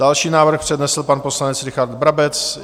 Další návrh přednesl pan poslanec Richard Brabec.